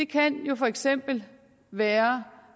kan jo for eksempel være